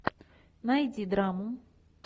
найди драму